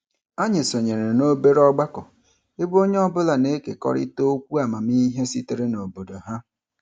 Anyị sonyere n'obere ọgbakọ ebe onye ọbụla na-ekekọrịta okwu amamihe sitere n'obodo ha.